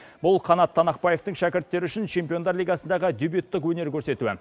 бұл қанат танақбаетің шәкірттері үшін чемпиондар лигасындағы дебьюттік өнер көрсетуі